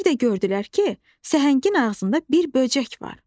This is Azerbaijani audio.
Bir də gördülər ki, səhəngin ağzında bir böcək var.